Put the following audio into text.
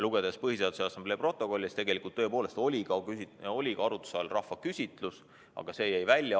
Lugedes Põhiseaduse Assamblee protokolle, on näha, et tegelikult oli arutuse all ka rahvaküsitlus, aga see jäeti välja.